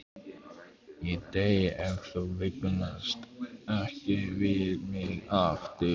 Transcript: Ég dey ef þú vingast ekki við mig aftur.